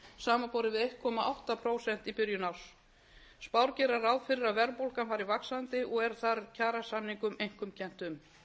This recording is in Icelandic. samanborið við einn komma átta prósent í byrjun árs spár gera ráð fyrir að verðbólgan fari vaxandi og er þar kjarasamningum einkum kennt um